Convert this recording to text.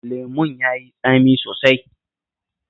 Lemon ya yi tsami sosai